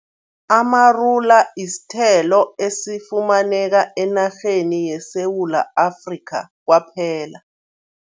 Amarula isithelo esifumaneka enarheni yeSewula Afrika kwaphela.